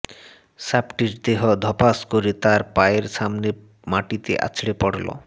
সাপটির দেহ ধপাস করে তার পায়ের সামনে মাটিতে আছড়ে পড়ল